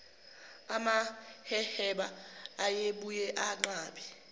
amaheheba ayebuye anqabe